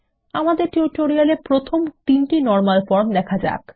আমাদের টিউটোরিয়াল এ প্রথম তিনটি নরমাল ফর্ম দেখা যাক